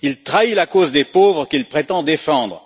Il trahit la cause des pauvres qu'il prétend défendre.